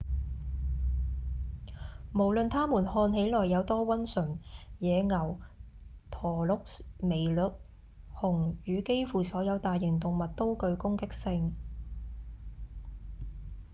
無論他們看起來有多溫順野牛、駝鹿、麋鹿、熊與幾乎所有大型動物都具攻擊性